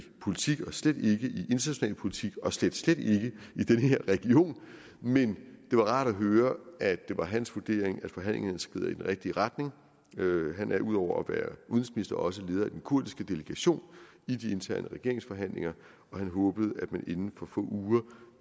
politik og slet ikke i international politik og slet slet ikke i den her region men det var rart at høre at det var hans vurdering at forhandlingerne skrider i den rigtige retning han er ud over at også leder af den kurdiske delegation i de interne regeringsforhandlinger og han håbede at man inden for få uger